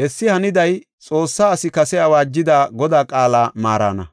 Hessi haniday Xoossa asi kase awaajida Godaa qaala maarana.